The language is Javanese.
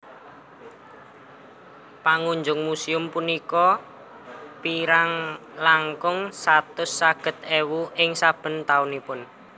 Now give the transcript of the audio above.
Pangunjung muséum punika kirang langkung satus seket ewu ing saben taunipun